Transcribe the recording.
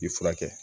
I furakɛ